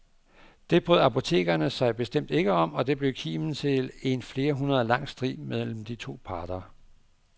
Det brød apotekerne sig bestemt ikke om, og det blev kimen til en flere århundreder lang strid mellem de to parter.